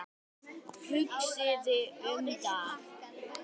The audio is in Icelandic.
Hugsið um það.